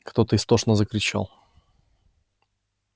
кто-то истошно закричал